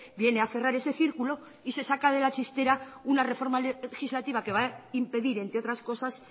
viene a cerrar ese círculo y se saca de la chistera una reforma legislativa que va a impedir entre otras cosas